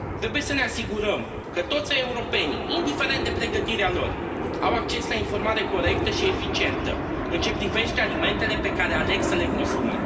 Trebuie să ne asigurăm că toți europenii, indiferent de pregătirea lor, au acces la informare corectă și eficientă în ce privește alimentele pe care aleg să le consume.